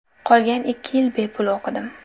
Qolgan ikki yil bepul o‘qidim.